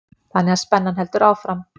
Þannig að spennan heldur áfram.